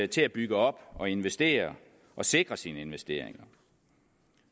til at bygge op og investere og sikre sine investeringer